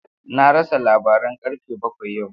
Na rasa labaran karfe bakwai yau.